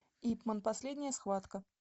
ип ман последняя схватка